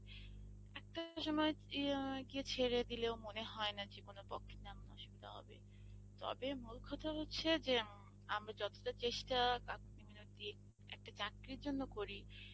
একটা সময় ই অ্যাঁ ছেড়ে দিলেও মনে হয় না জীবনে হবে, তবে মূল কথা হচ্ছে যে আমরা যতটা চেষ্ঠা একটা চাকরির জন্য করি